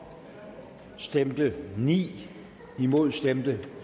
stemte ni imod stemte